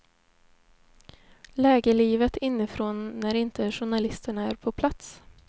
Lägerlivet inifrån när inte journalisterna är på plats.